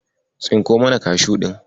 Tsinko mana Kashu ɗin.